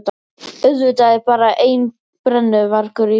Auðvitað er bara einn brennuvargur í bænum!